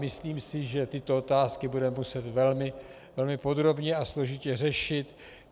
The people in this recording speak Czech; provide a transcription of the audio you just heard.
Myslím si, že tyto otázky budeme muset velmi podrobně a složitě řešit.